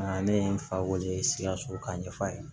Ne ye n fa weele sikaso k'a ɲɛf'a ye